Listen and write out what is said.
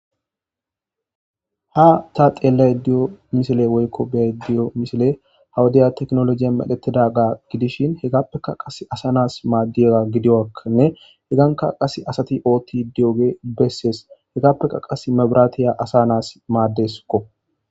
ha ta xeellay diyo misile woykko bey diyo misile hawudaya teknolojiya medhetidaga gidishin hegappeka qas asa nas maaddiyaga gidiakkanne heganka qas asati ootti diyoge bessees hegappeka qas mabiraatiya asa nas maaddeskko